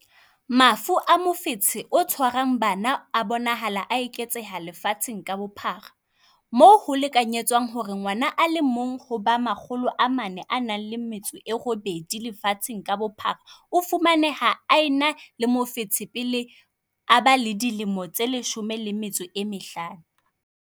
Mafu a mofetshe o tshwarang bana a bonahala a eketseha lefatsheng ka bophara, moo ho lekanyetswang hore ngwana a le mong ho ba 408 lefatsheng ka bophara o fumaneha a ena le mofetshe pele a ba le dilemo tse 15.